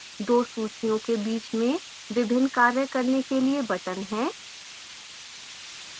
दो सूचियों के बीच में विभिन्न कार्य करने के लिए buttons हैं